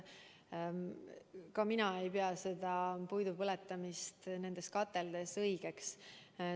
Ka mina ei pea puidu põletamist nendes kateldes õigeks.